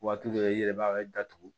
Waati dɔ i yɛrɛ b'a datugu